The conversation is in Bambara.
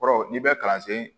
Kɔrɔ n'i bɛ kalansen